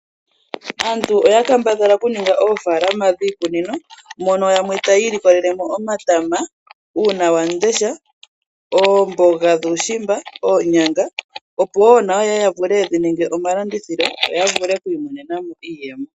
Aantu oya kambadhala okuninga oofaalaama dhiikunino mono yamwe taya ilikolelemo omatama, uuna wam'ndesha oomboga dhuushimba, oonyanga, opo woo nayo yeye ysvule yedhi ninge omalandithilo, yo ya vule oku imonena mo iiyemo.